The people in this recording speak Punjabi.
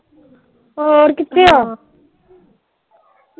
ਹੋਰ ਕਿਥੇ ਆਂ